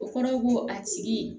O kɔrɔ ko a tigi